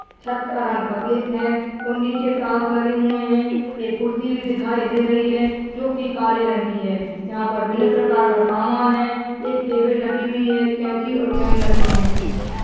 छत का रंग सफेद है और नीचे टाइल्स लगी हुए है एक कुर्सी भी दिखाई दे रही है जो की काले रंग की है यहां पर भिन्न प्रकार का सामान है एक टेबल रखी हुई है केची और पेन रखी है।